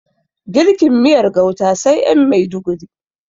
Girkin miyar gauta sai ƴan maiduguri